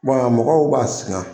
Bɔn a mɔgɔw b'a singa